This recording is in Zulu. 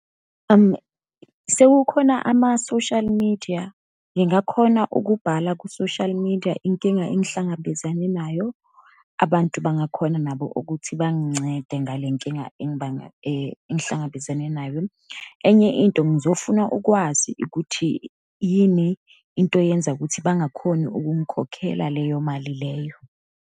Sekukhona ama-social media. Ngingakhona ukubhala ku-social media inkinga engihlangabezane nayo. Abantu bangakhona nabo ukuthi bangincede ngale nkinga engibanga engihlangabezane nayo. Enye into ngizofuna ukwazi ukuthi yini into eyenza ukuthi bangakhoni ukungikhokhela leyo mali leyo.